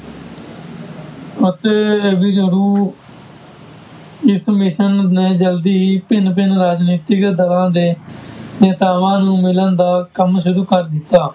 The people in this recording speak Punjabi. ਅਤੇ ਇਸ ਮਿਸ਼ਨ ਨੇ ਜ਼ਲਦੀ ਹੀ ਭਿੰਨ ਭਿੰਨ ਰਾਜਨੀਤਿਕ ਦਰਾਂ ਦੇ ਨੇਤਾਵਾਂ ਨੂੰ ਮਿਲਣ ਦਾ ਕੰਮ ਸ਼ੁਰੂ ਕਰ ਦਿੱਤਾ।